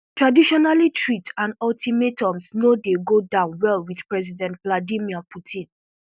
traditionally threats and ultimatums no dey go down well wit president vladimir putin